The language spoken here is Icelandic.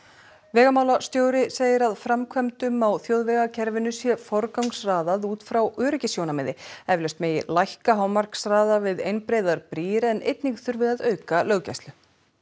vegamálastjóri segir að framkvæmdum á þjóðvegakerfinu sé forgangsraðað út frá öryggissjónarmiði eflaust megi lækka hámarkshraða við einbreiðar brýr en einnig þurfi að auka löggæslu